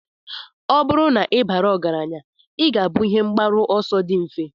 Ọ bụrụ na ị bara ọgaranya, ị ga-abụ ihe mgbaru ọsọ dị mfe.